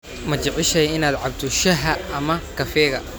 Ma jeceshahay inaad cabto shaaha ama kafeega?